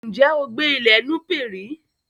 Ǹjé ó gbé ní ilè Nupé rí